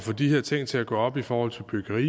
få de her ting til at gå op i forhold til byggeri